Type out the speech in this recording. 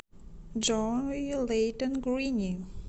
джой лэйтон грини